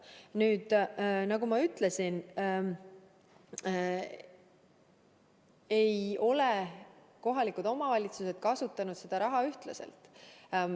Nüüd, nagu ma ütlesin, ei ole kohalikud omavalitsused kasutanud seda raha ühtlaselt.